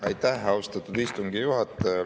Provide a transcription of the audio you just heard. Aitäh, austatud istungi juhataja!